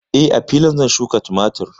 Eh, a filin nan ne zan shuƙa tumatur.